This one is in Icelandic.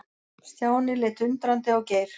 Stjáni leit undrandi á Geir.